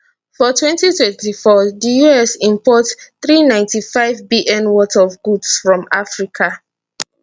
for twenty twenty four di us import three ninety five bn worth of goods from africa